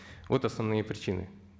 вот основные причины